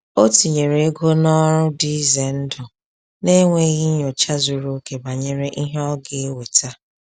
O tinyere ego n’ọrụ dị ize ndụ n’enweghị nyocha zuru oke banyere ihe ọ ga-eweta.